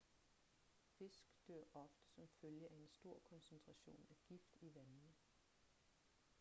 fisk dør ofte som følge af en stor koncentration af gift i vandene